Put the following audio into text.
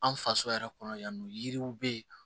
An faso yɛrɛ kɔnɔ yan nɔ yiriw bɛ yen